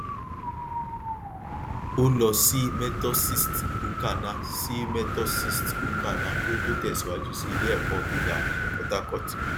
ó lọ sí methosist ukana sí methosist ukana kí ó tó tẹsíwájú sí ilé ẹkọ gíga portharcourt